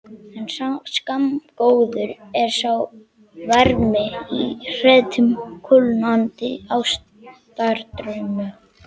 En skammgóður er sá vermir í hretum kulnandi ástardrauma.